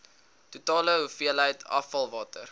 totale hoeveelheid afvalwater